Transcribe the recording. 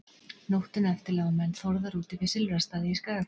Nóttina eftir lágu menn Þórðar úti við Silfrastaði í Skagafirði.